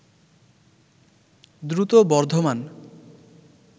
দ্রুত বর্ধমান